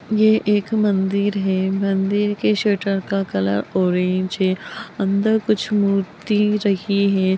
ये एक मंदिर है मंदिर के शटर का कलर ऑरेंज है अंदर कुछ मूर्ति रही है।